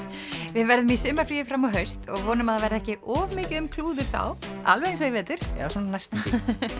við verðum í sumarfríi fram á haust og vonum að það verði ekki of mikið um klúður þá alveg eins og í vetur eða svona næstum því